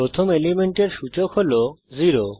প্রথম এলিমেন্টের সূচক হল 0